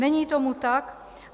Není tomu tak.